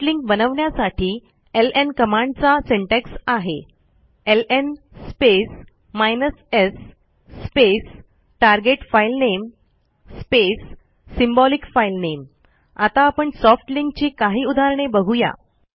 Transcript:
soft link बनवण्यासाठी L N कमांडचा syntax आहे L N space s space target filename space symbolic filename आता आपण सॉफ्ट लिंक ची काही उदाहरणे बघू या